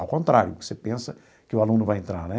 Ao contrário, você pensa que o aluno vai entrar, né?